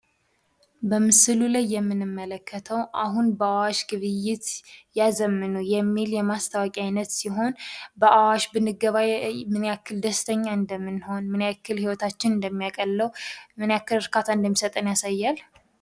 በምስሉ ላይ የምንመልከተው አሁን በአዋሽ ግብይትዎን ያዘምኑ የሚል የማስታወቂያ አይነት ሲሆን በአዋሽ ብንገበያይ ምን ያክል ደስተኛ እንደምንሆን፤ ምን ያክል ህይወታችን እንደሚያቀለው፤ ምን ያክል እርካታ እንደሚሰጠን ያሳያል።